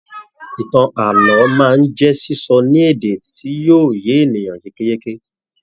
Ìtàn ààlọ́ máa n jẹ sísọ ní èdè tí yóò yé ènìyàn yékéyéké